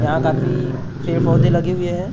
यहां काफी पेड़-पौधे लगे हुए हैं और --